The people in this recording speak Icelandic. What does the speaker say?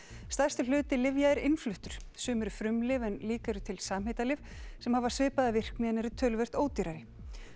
stærstur hluti lyfja er innfluttur sum eru frumlyf en líka eru til samheitalyf sem hafa svipaða virkni en eru töluvert ódýrari